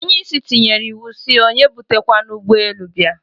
Onye isi tinyere iwu, si onye ebute kwana ugbe elu bia